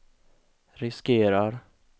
riskerar